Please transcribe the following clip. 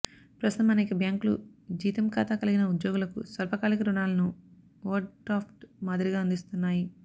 ప్రస్తుతం అనేక బ్యాంకులు జీతం ఖాతా కలిగిన ఉద్యోగులకు స్వల్పకాలిక రుణాలను ఓవర్డ్రాఫ్ట్ మాదిరిగా అందిస్తున్నాయి